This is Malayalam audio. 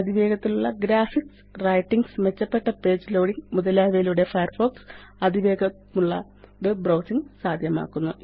അതിവേഗത്തിലുള്ള ഗ്രാഫിക്സ് റെന്ററിംഗ് മെച്ചപ്പെട്ട പേജ് ലോഡിംഗ് മുതലായവയിലൂടെ ഫയർഫോക്സ് അതിവേഗമുള്ള വെബ് ബ്രൌസിംഗ് സാദ്ധ്യമാക്കുന്നു